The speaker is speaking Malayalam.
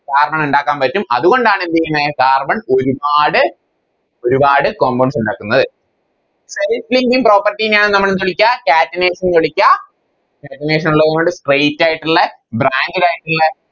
Carbon ഇണ്ടാക്കാൻ പറ്റും അതുകൊണ്ടാണ് എന്തേയ്‌ന്നെ Carbon ഒരുപാട് ഒരുപാട് Compounds ഇണ്ടാക്കുന്നത് Self linking property നെയാണ് നമ്മളെന്ത് വിളിക്ക Catenation ന്ന് വിളിക്ക Catenation ഇള്ളതുകൊണ്ട് Straight ആയിട്ടുള്ളെ Branded ആയിട്ടിളെ